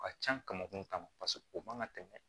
O ka can kamankun kama paseke o man ka tɛmɛ